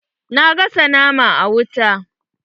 Na gasa naman a wuta.